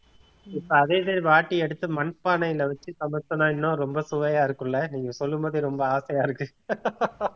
இப்ப அதே மாதிரி வாட்டி எடுத்து மண்பானையில வச்சு சமைச்சோம்னா இன்னும் ரொம்ப சுவையா இருக்கும் இல்ல நீங்க சொல்லும் போதே ரொம்ப ஆசையா இருக்கு